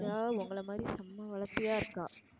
உங்கள மாதிரி செம்ம வளத்தியா இருக்கா.